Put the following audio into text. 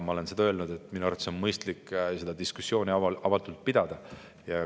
Ma olen öelnud, et minu arvates on mõistlik seda diskussiooni avatult pidada.